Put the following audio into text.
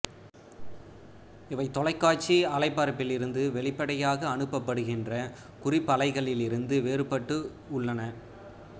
இவை தொலைக்காட்சி அலைபரப்பிலிருந்து வெளிப்படையாக அனுப்பப்படுகின்ற குறிப்பலைகளிலிருந்து வேறுபட்டு உள்ளன